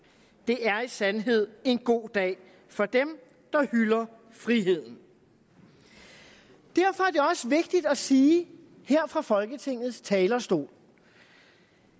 det er i sandhed en god dag for dem der hylder friheden derfor er det også vigtigt at sige her fra folketingets talerstol